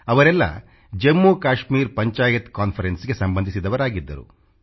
ಅವರೆಲ್ಲ ಜಮ್ಮು ಕಾಶ್ಮೀರ್ ಪಂಚಾಯತ್ CONFERENCEಗೆ ಸಂಬಂಧಿಸಿದವರಾಗಿದ್ದರು